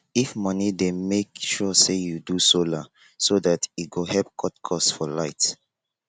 if moni dey mek sure say yu do solar so dat e go help cut cost for light